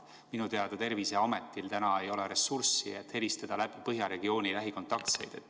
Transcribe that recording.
Minu teada Terviseametil täna ei ole ressurssi, et helistada läbi Põhja regiooni lähikontaktseid.